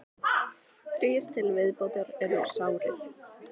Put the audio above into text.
Þrír til viðbótar eru sárir